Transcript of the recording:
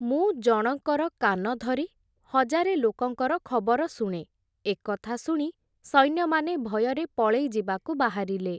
ମୁଁ ଜଣଙ୍କର କାନ ଧରି, ହଜାରେ ଲୋକଙ୍କର ଖବର ଶୁଣେ, ଏକଥା ଶୁଣି, ସୈନ୍ୟମାନେ ଭୟରେ ପଳେଇଯିବାକୁ ବାହାରିଲେ ।